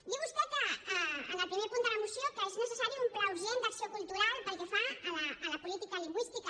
diu vostè en el primer punt de la moció que és necessari un pla urgent d’acció cultural pel que fa a la política lingüística